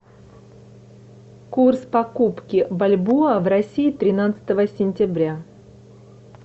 курс покупки бальбоа в россии тринадцатого сентября